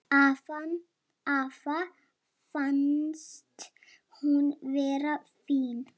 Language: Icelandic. Afa fannst hún vera fín.